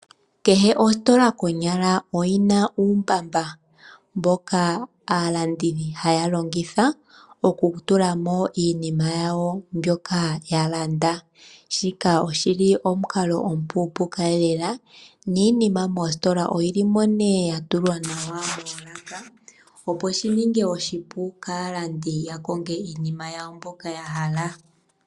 Konyala kehe ositola oyi na uumbaba mboka aalandi haya longitha okutula mo iinima yawo mbyoka ya landa. Shika oshi li omukalo omupuupuka lela, niinima moositola ohayi kala mo nee ya tulwa nawa moolaka, opo shi ninge oshipu kaalandi uuna taya kongo iinima yawo mbyoka ya hala.